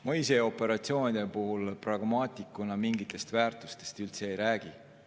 Ma ise pragmaatikuna operatsioonide puhul mingitest väärtustest üldse ei räägi.